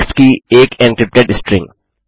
text की एक encrypted string